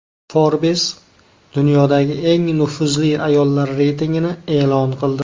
Forbes dunyodagi eng nufuzli ayollar reytingini e’lon qildi.